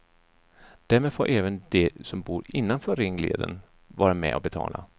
Därmed får även de som bor innanför ringleden vara med och betala.